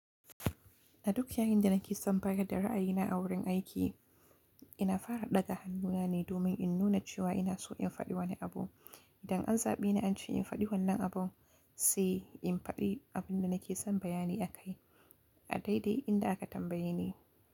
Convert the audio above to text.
A duk yayin da nake son bayar da ra'ayina a wurin aiki, ina fara ɗaga hannuna ne domin in nuna cewa ina so in faɗi wani abu. Dan an zaɓi ni an ce in faɗi wannan abun, sai in faɗi abin da nake son bayani akai a daidai inda aka tambaye ni.